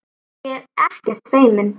Ég er ekkert feimin.